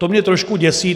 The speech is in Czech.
To mě trošku děsí.